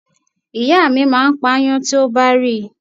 Ìyá mi máa ń pa aáyán tí ó bá rí.